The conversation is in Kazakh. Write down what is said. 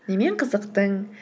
немен қызықтың